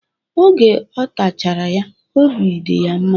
Oge ọ tachara ya, obi dị ya mma.